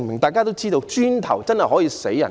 大家都知道，磚頭真的可以致命。